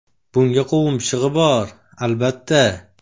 Bunga qovun pishig‘i bor, albatta.